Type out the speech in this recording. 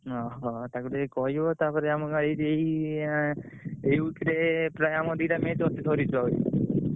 ଓହ! ତାକୁ ଟିକେ କହିବ ତାପରେ ଆମୁକୁ ଏଇ ଆଁ ଏଇ week ରେ ପ୍ରାୟ ଆମର ଦିଟା match ଅଛି ଧରିଛୁ ଭାଇ ।